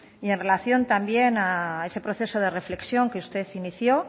y en relación también a ese proceso de reflexión que usted inició